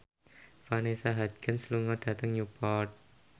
Vanessa Hudgens lunga dhateng Newport